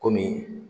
Komi